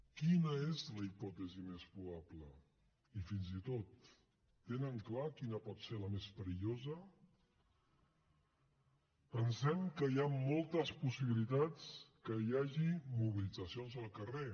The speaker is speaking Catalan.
quina és la hipòtesi més probable i fins i tot tenen clar quina pot ser la més perillosa pensem que hi han moltes possibilitats que hi hagi mobilitzacions al carrer